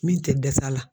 Min tɛ dɛsɛ a la